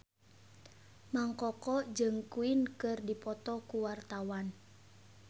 Mang Koko jeung Queen keur dipoto ku wartawan